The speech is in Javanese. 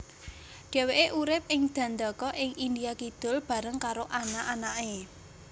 Dheweke urip ing Dandaka ing India Kidul bareng karo anak anake